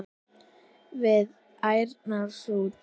við ærna sút.